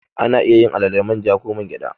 Ana iya alale da man ja ko man gyada.